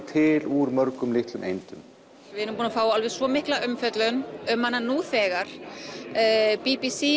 til úr mörgum litlum eindum við erum búin að fá svo mikla umfjöllun um hana sýningu nú þegar b b c